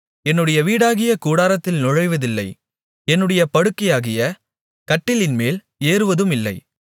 என்னுடைய வீடாகிய கூடாரத்தில் நுழைவதில்லை என்னுடைய படுக்கையாகிய கட்டிலின்மேல் ஏறுவதுமில்லை